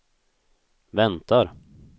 väntar